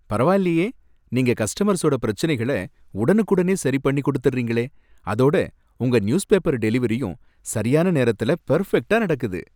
பரவாயில்லயே, நீங்க கஸ்டமர்ஸோட பிரச்சனைகள உடனக்குடனே சரி பண்ணி கொடுத்திடுறீங்களே, அதோட உங்க நியூஸ்பேப்பர் டெலிவெரியும் சரியான நேரத்துல பெர்ஃபெக்ட்டா நடக்குது.